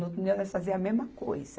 No outro dia nós fazíamos a mesma coisa.